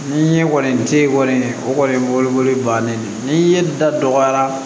Ni ye kɔni te kɔni o kɔni ye bolokoli bannen ye ni ye da dɔgɔyara